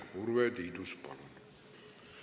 Urve Tiidus, palun!